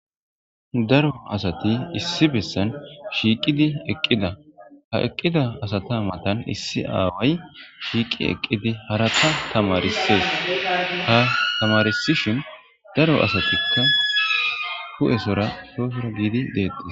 Daro asati issi bessan shiiqidi eqqida ha eqqida asata matan issi aaway shiiqi eqqidi haraka tamarisees ha tamarsishin daro asatikka hu7esora soofira giidi deei.